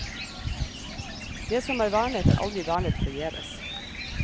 Det som er vernet er aldri vernet forgjeves.